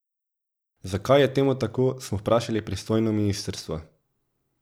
Zakaj, je temu tako, smo vprašali pristojno ministrstvo.